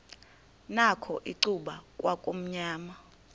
nakho icuba kwakumnyama